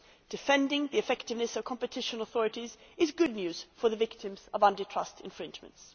Defending the effectiveness of competition authorities is good news for the victims of anti trust infringements.